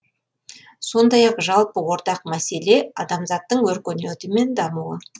сондай ақ жалпы ортақ мәселе адамзаттың өркениеті мен дамуы